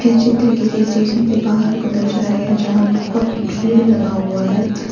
ये चित्र किसी स्टेशन के बाहर को दर्शाया गया जहां बहुत भीड़ लगा हुआ है।